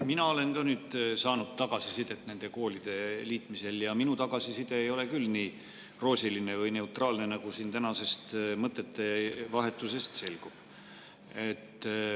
Mina olen ka saanud nüüd tagasisidet nende koolide liitmise kohta ja minu tagasiside ei ole küll nii roosiline või neutraalne, nagu siin tänasest mõttevahetusest selgub.